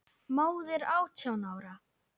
Móðir átján ára?